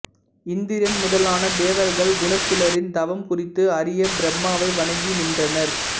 இந்திரன் முதலான தேவர்கள் குனசீலரின் தவம் குறித்து அறிய பிரம்மாவை வணங்கி நின்றனர்